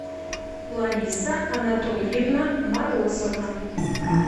лариса анатольевна морозова